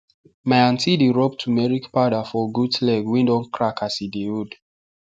my aunty dey rub turmeric powder for goat leg wey don crack as e dey old